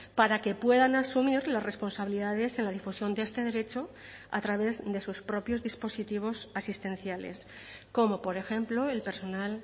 para que puedan asumir las responsabilidades en la difusión de este derecho a través de sus propios dispositivos asistenciales como por ejemplo el personal